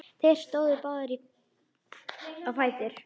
Þeir stóðu báðir á fætur.